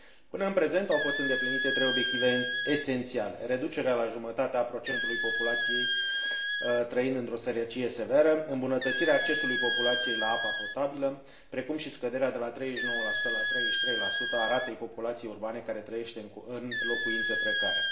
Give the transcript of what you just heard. Până în prezent, au fost îndeplinite trei obiective esențiale reducerea la jumătate a procentului populației trăind într o sărăcie severă, îmbunătățirea accesului populației la apa potabilă, precum și scăderea, de la 39 la 33, a ratei populației urbane care trăiește în locuințe precare.